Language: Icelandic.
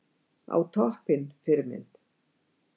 Á toppinn Fyrirmynd?